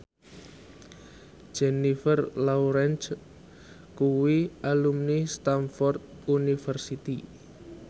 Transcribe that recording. Jennifer Lawrence kuwi alumni Stamford University